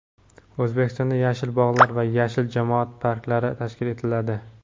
O‘zbekistonda "Yashil bog‘lar" va "Yashil jamoat parklari" tashkil etiladi.